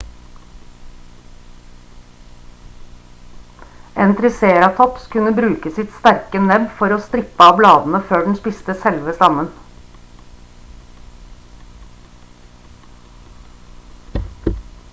en triceratops kunne bruke sitt sterke nebb for å strippe av bladene før den spiste selve stammen